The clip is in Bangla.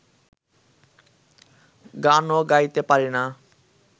গানও গাইতে পারি না